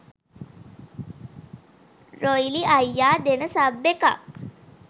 රොයිලි අයියා දෙන සබ් එකක්